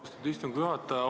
Austatud istungi juhataja!